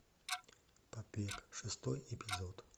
побег шестой эпизод